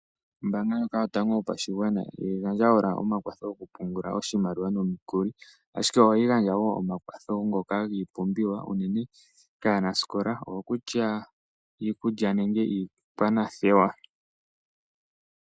Ombanga ndjoka yotango yopashigwana ihayi gandja owala omakwatho ngoka goku pungula oshimaliwa nomikuli. Ashike ohayi gandja wo omakwatho ngoka gii pumbiwa unene kaa nasikola ongo kutya iikulya nenge iikwanathewa.